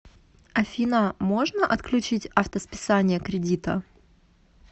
афина можно отключить авто списание кредита